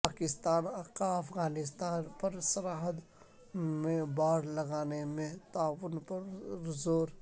پاکستان کا افغانستان پرسرحد میں باڑ لگانے میں تعاون پر زور